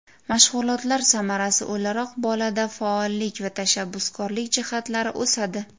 Mashg‘ulotlar samarasi o‘laroq bolada faollik va tashabbuskorlik jihatlari o‘sadi.